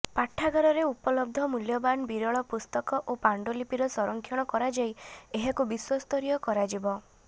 ପାଠାଗାରରେ ଉପଲବ୍ଧ ମୂଲ୍ୟବାନ ବିରଳ ପୁସ୍ତକ ଓ ପାଣ୍ଡୁଲିପି ର ସଂରକ୍ଷଣ କରାଯାଇ ଏହାକୁ ବିଶ୍ୱସ୍ତରୀୟ କରାଯିବ